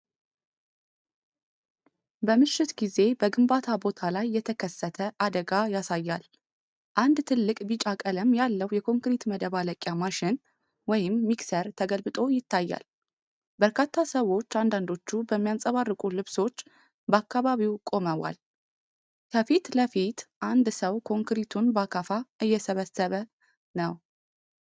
በምሽት ጊዜ በግንባታ ቦታ ላይ የተከሰተ አደጋ ያሳያል። አንድ ትልቅ ቢጫ ቀለም ያለው የኮንክሪት ማደባለቂያ ማሽን (ሚክሰር) ተገልብጦ ይታያል። በርካታ ሰዎች አንዳንዶቹ በሚያንፀባርቁ ልብሶች፣ በአካባቢው ቆመዋል። ከፊት ለፊት አንድ ሰው ኮንክሪቱን በአካፋ እየሰበሰበ ነው።